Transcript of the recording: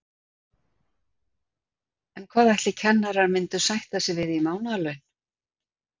En hvað ætli kennarar myndu sætta sig við í mánaðarlaun?